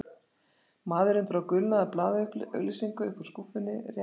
Maðurinn dró gulnaða blaðaauglýsingu upp úr skúffunni, rétti